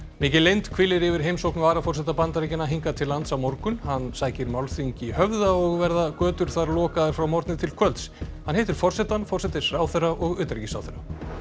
mikil leynd hvílir yfir heimsókn varaforseta Bandaríkjanna hingað til lands á morgun hann sækir málþing í Höfða og verða götur þar lokaðar frá morgni til kvölds hann hittir forsetann forsætisráðherra og utanríkisráðherra